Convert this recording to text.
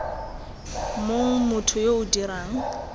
mong motho yo o dirang